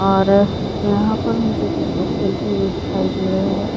और यहाँ पर मुझे कुछ लोग खेलते हुए दिखाई दे रहे है।